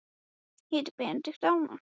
Hvað með þig, einu sinni blár, alltaf blár?